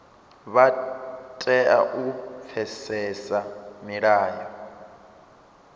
vha tea u pfesesa milayo